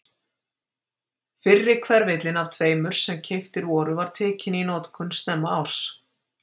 Fyrri hverfillinn af tveimur sem keyptir voru var tekinn í notkun snemma árs